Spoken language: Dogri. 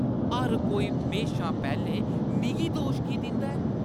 हर कोई म्हेशा पैह्‌लें मिगी दोश की दिंदा ऐ?